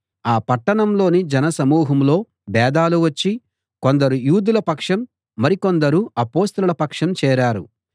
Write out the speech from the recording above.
ఆ పట్టణంలోని జనసమూహంలో భేదాలు వచ్చి కొందరు యూదుల పక్షం మరి కొందరు అపొస్తలుల పక్షం చేరారు